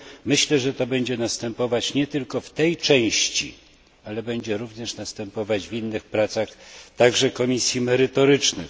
Myślę, że to będzie następować nie tylko w tej części, ale będzie również następować w innych pracach, także komisji merytorycznych.